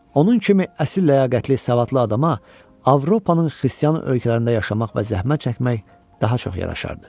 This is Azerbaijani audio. onun kimi əsl ləyaqətli savadlı adama Avropanın xristian ölkələrində yaşamaq və zəhmət çəkmək daha çox yaraşardı.